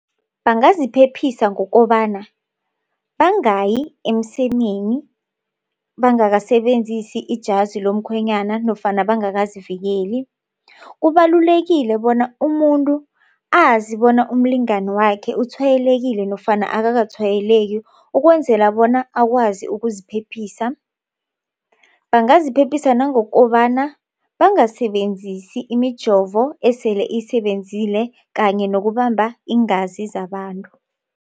Bangaziphephisa ngokobana bangayi emsemeni bangakasebenzisi ijazi lomkhwenyana nofana bangakazivikeli. Kubalulekile bona umuntu azi bona umlingani wakhe utshwayelekile nofana akakatshwayeleki ukwenzela bona akwazi ukuziphephisa. Bangaziphephisa ngokobana bangasebenzisi imijovo esele isebenzile kanye nokubamba iingazi zabantu.